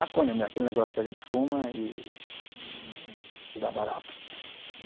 Maconha é aquele negócio que a gente fuma e hm, e dá barato.